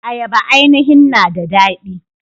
Ayaba ainihin na da daɗi.